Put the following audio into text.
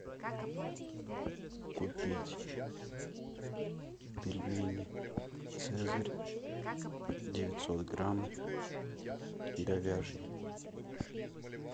купить пельмени цезарь девятьсот грамм говяжьи